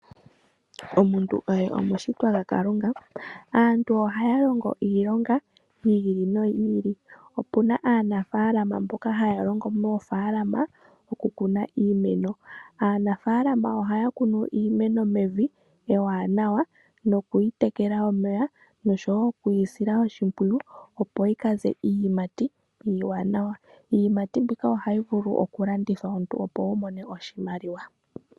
Omuntu oye omushitwa gwaKalunga. Aantu ohaya longo iilonga yi ili noyi ili. Opuna aanafalama mboka haya longo moofaalama okukuna iimeno. Aanafalama ohaya kunu iimeno mevi ewanawa nokuyi tekela omeya, noshowo okuyi sila oshimpwiyu opo yi kaze iiyimati iiwanawa. Iiyimati mbika ohayi vulu okulandithwa omuntu opo wu mone oshimaliwa.